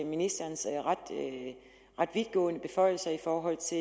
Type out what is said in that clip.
ministerens ret vidtgående beføjelser i forhold til